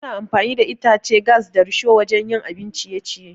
Ana amfani da itace, gas, da risho wajan yin abin ciye-ciye